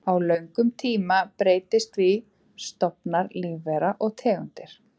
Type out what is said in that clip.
Á löngum tíma breytast því stofnar lífvera og tegundir.